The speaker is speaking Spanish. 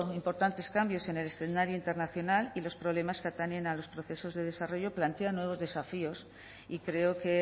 importantes cambios en el escenario internacional y los problemas que atañen a los procesos de desarrollo plantean nuevos desafíos y creo que